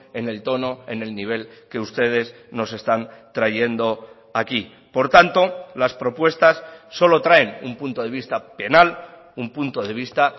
en el tono en el nivel que ustedes nos están trayendo aquí por tanto las propuestas solo traen un punto de vista penal un punto de vista